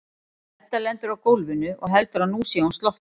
Edda lendir á gólfinu og heldur að nú sé hún sloppin.